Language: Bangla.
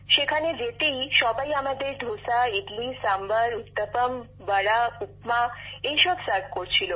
সেখানে যেতেই সবাই আমাদের ধোসা ইডলি সাম্বর উত্তপম বড়া উপমা এইসব পরিবেশন করছিল